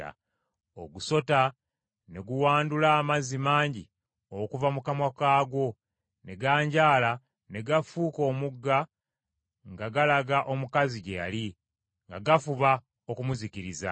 Ogusota ne guwandula amazzi mangi okuva mu kamwa kaagwo ne ganjaala ne gafuuka omugga nga galaga omukazi gye yali, nga gafuba okumuzikiriza.